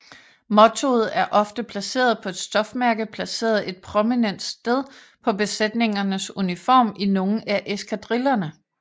Mottoet er ofte placeret på et stofmærke placeret et prominent sted på besætningernes uniform i nogle af eskadrillerne